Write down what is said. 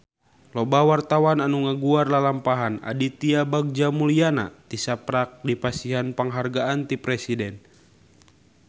Loba wartawan anu ngaguar lalampahan Aditya Bagja Mulyana tisaprak dipasihan panghargaan ti Presiden